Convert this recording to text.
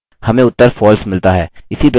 enter दबाएँ